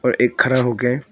एक खड़ा हो गया है।